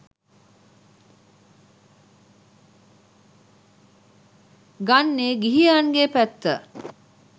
ගන්නේ ගිහියන්ගේ පැත්ත.